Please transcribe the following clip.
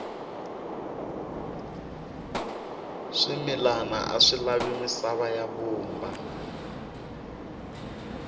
swimilana aswi lavi misava ya vumba